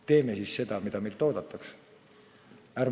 Teeme seda, mida meilt oodatakse!